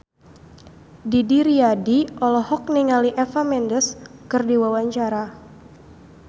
Didi Riyadi olohok ningali Eva Mendes keur diwawancara